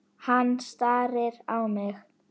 Hann starir á mig.